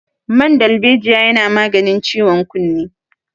Man dalbejiya yana maganin ciwon kunne